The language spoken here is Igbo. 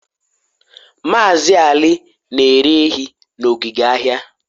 Maazị Ali na-ere ehi na ogige ahịa